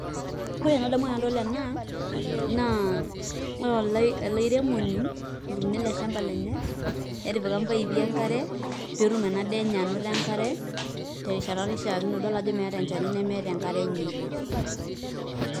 Ore anadamu tanadol ena na ore eleairemoni otuuno eleshamba lenyenetipika mpaipi enkare petum enaa daa enye ainoto enkare terishata naishakino idolta ajo meeta enchani nemeeta enkare enye.